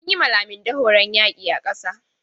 An yi ma Laminde horon yaƙi a ƙasa.